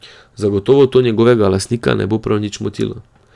Zagotovo to njegovega lastnika ne bo prav nič motilo.